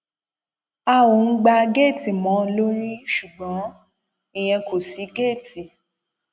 a ò ń gbá géètì mọ ọn lórí ṣùgbọn ìyẹn kò sì géètì